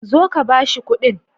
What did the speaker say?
Zo ka ba shi kuɗin.